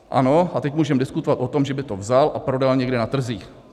Ano, a teď můžeme diskutovat o tom, že by to vzal a prodal někde na trzích.